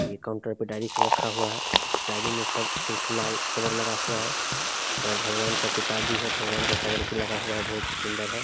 ये काउंटर पे डायरी सब रखा हुआ है उस डायरी में सब सिर्फ लाल कवर लगा हुआ है और भगवान का किताब भी है भगवान का कवर भी लगा हुआ है बहुत सुन्दर है ।